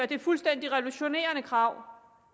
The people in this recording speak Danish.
det fuldstændig revolutionerende krav